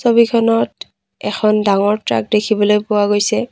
ছবিখনত এখন ডাঙৰ ট্ৰাক দেখিবলৈ পোৱা গৈছে।